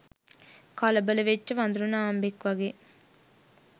කලබල වෙච්ච වඳුරු නාම්බෙක් වගේ.